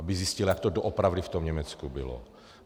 Aby zjistila, jak to doopravdy v tom Německu bylo.